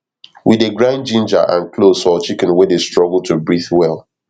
we dey grind ginger and cloves for chicken wey dey struggle to breathe well